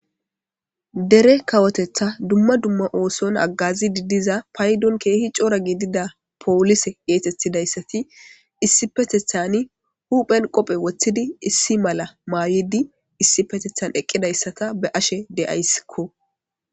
dere kawotetha dumma dumma ooson aggazi didiza paydon keehi coora giidida poolise geetethidayssati issi petethan huphen qophe woththidi issi mala maayidi issi petethan eqqidayssata be ashe de7ayssikko